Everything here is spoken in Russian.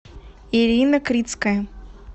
ирина крицкая